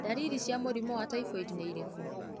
Ndariri mũrimũ wa typhoid nĩ irĩkũ?